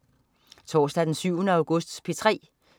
Torsdag den 7. august - P3: